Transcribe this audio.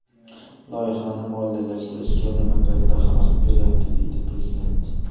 Loyihani moliyalashtirishga demokratlar xalaqit beryapti, deydi prezident.